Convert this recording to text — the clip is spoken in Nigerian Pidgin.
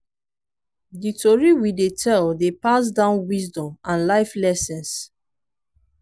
di tori we dey tell dey pass down wisdom and life lessons.